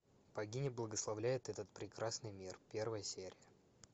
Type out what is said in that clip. богиня благословляет этот прекрасный мир первая серия